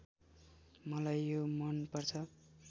मलाई यो मनपर्छ